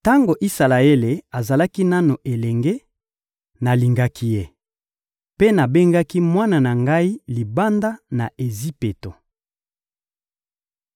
Tango Isalaele azalaki nanu elenge, nalingaki ye, mpe nabengaki mwana na ngai libanda ya Ejipito.